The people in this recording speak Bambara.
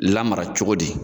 Lamara cogo di?